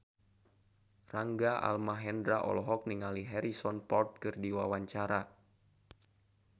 Rangga Almahendra olohok ningali Harrison Ford keur diwawancara